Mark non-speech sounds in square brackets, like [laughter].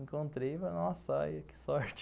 Encontrei, [unintelligible] nossa, que sorte.